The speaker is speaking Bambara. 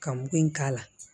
Ka mugu in k'a la